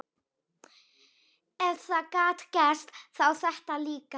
Ef það gat gerst, þá þetta líka.